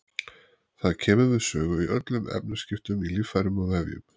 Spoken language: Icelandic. Það kemur við sögu í öllum efnaskiptum í líffærum og vefjum.